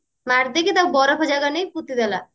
ମାରିଦେଇକି ତାକୁ ବରଫ ଜାଗାକୁ ନେଇକି ପୋତିଦେଲା